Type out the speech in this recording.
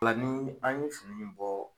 O la ni an ye fini in bɔ